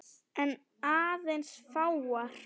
En aðeins fáar.